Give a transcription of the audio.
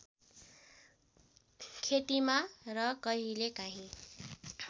खेतीमा र कहिलेकाहीँ